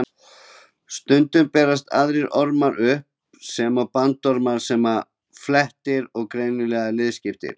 Stundum berast aðrir ormar upp, svo sem bandormar sem eru flatir og greinilega liðskiptir.